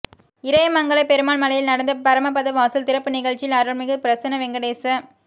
இறையமங்கலம் பெருமாள் மலையில் நடந்த பரமபத வாசல் திறப்பு நிகழ்ச்சியில் அருள்மிகு பிரசன்ன வெங்கடேசப்